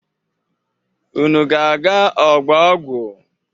Unu ga-aga ọgbọ ọgụ?